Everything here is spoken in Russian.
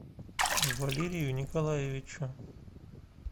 валерию николаевичу